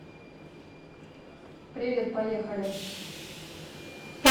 привет поехали